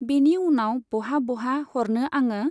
बेनि उनाव बहा बहा हरनो आङो?